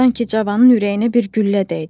Sanki cavanın ürəyinə bir güllə dəydi.